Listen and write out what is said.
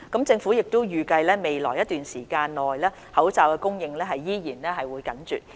政府預計未來一段時間內口罩供應依然緊絀。